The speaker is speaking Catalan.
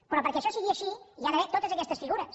però perquè això sigui així hi ha d’haver totes aquestes figures